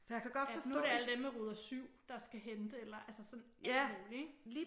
At nu er det alle dem med ruder 7 der skal hente eller sådan alt muligt ik